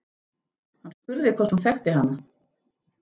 Hann spurði hvort hún þekkti hana.